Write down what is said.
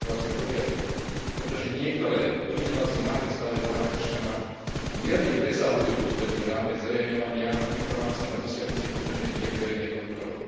3 rokovacieho poriadku, pretože niektoré pozmeňujúce návrhy v správe pána Cashmana mierne presahujú potrebný rámec zverejňovania informácií na dosiahnutie potrebnej miery verejnej kontroly.